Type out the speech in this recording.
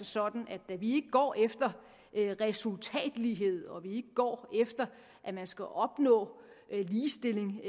sådan at når vi ikke går efter resultatlighed og vi ikke går efter at man skal opnå ligestilling